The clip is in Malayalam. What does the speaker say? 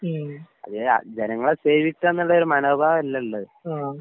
ഉം. ആഹ്.